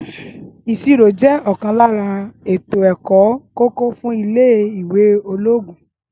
ìṣirò jẹ òkan lára àwon èkó tó ṣe kókó fún ilé ìwé ológun